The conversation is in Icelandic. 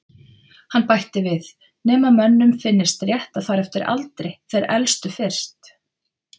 Hann bætti við: Nema mönnum finnist rétt að fara eftir aldri- þeir elstu fyrst